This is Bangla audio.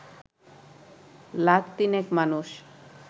লাখ তিনেক মানুষ